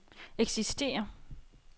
eksisterer